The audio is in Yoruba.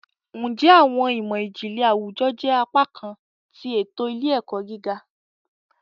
Njẹ Awọn imọ-jinlẹ Awujọ jẹ apakan ti eto ile-ẹkọ gíga?